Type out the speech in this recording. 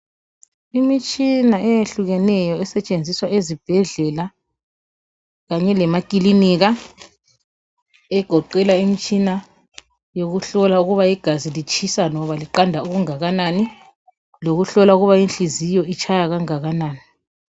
Imitshina eyehlukeneyo esetshenziswa ezibhedlela kanye lemakilinika, egoqela imitshina yekuhlola ukuba igazi litshisa loba liqanda okungakanani noma inhliziyo itshaya okungakanani.